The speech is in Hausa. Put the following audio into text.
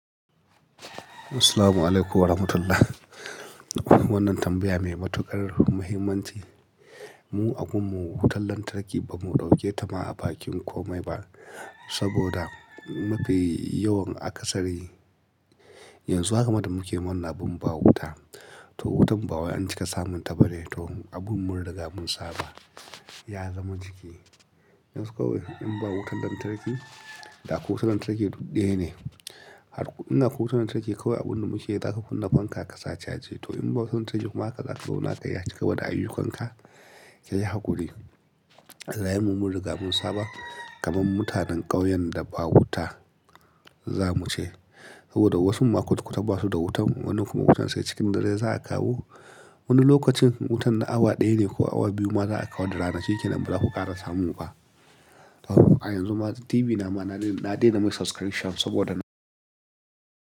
Assalamualaikum warahmatullah. Wannan tambaya mai matuƙar muhimmanci. Mu a gunmu wutan lantarki ba mu ɗauke ta ma a bakin komai ba, saboda mafi yawan akasari yanzu haka da muke wannan abun ba wuta. To wutan bawai an cika samun ta bane, to abun muriga mun saba ya zama ciki. Yanzu kawai in ba wutan lantarki, da akwai wutan lantarki duk dayane. Inda akwai wutan lantarki kawai abun da muke yi za ka kunna fanka ka sa caji. To in babu wutan lantarki kuma haka za ka zauna ka yi acika da ayyukanka, kai hakuri. Rayenmu mun muriga mun saba kaman mutanen ƙauyen da ba wuta za muce. Saboda wasun ma kwata-kwata basu da wutan, wannan kuma wutan sai cikin dare za'a kawo. Wani lokacin wutan na awa ɗaya ne ko awa biyu ma za a kawo da rana shinekenan baza ku ƙara samu ba. Yanzu ma TV nama na dai na dai na mai subscription saboda na.